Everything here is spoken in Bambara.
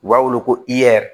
U b'a wele ko iyɛri